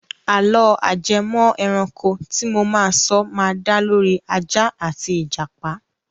Àlọ́ ajẹmọ́-ẹranko tí mo máa sọ ma da lórí Ajá àti Ìjàpà.